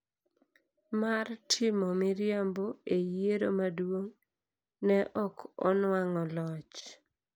mar timo miriambo e yiero maduong’, ne ok onwang'o loch.